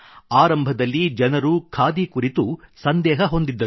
ಆರಂಭದಲ್ಲಿ ಜನರು ಖಾದಿ ಕುರಿತು ಸಂದೇಹ ಹೊಂದಿದ್ದರು